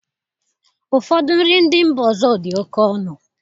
Ụfọdụ nri ndị mba ọzọ dị oke ọnụ